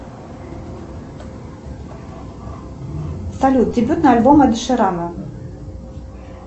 салют дебютный альбом доширама